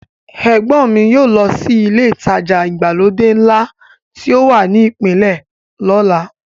Ẹ̀gbọ́n mi yóò lọ sí ilé ìtajà ìgbàlódé ńlá tí ó wà ní ìpínlẹ̀ lọ́la.